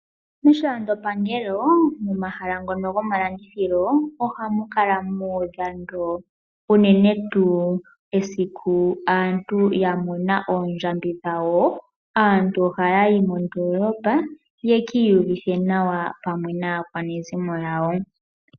Moshilando pangelo, momahala ngono gomalandithilo, oha mu kala mu udha ndo, unene tuu esiku aantu ya mona oondjambi dhawo. Aantu oha ya yi mondoolopa, ye ki uyuvithe nawa pamwe naakwanezimo yawo.